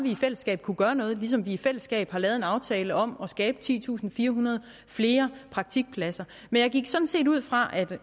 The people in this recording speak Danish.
i fællesskab kunne gøre noget ligesom vi i fællesskab har lavet en aftale om at skabe titusinde og firehundrede flere praktikpladser men jeg gik sådan set ud fra